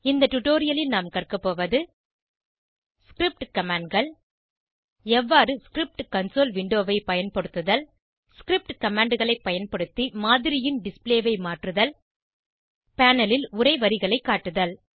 இந்த டுடோரியலில் நாம் கற்கபோவது ஸ்கிரிப்ட் commandகள் எவ்வாறு ஸ்கிரிப்ட் கன்சோல் விண்டோவை பயன்படுத்துதல் ஸ்கிரிப்ட் commandகளை பயன்படுத்தி மாதிரியின் டிஸ்ப்ளே ஐ மாற்றுதல் பேனல் ல் உரை வரிகளை காட்டுதல்